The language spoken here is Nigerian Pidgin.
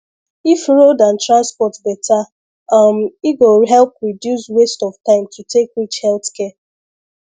if road and transport better um e go help reduce waste of time to take reach health care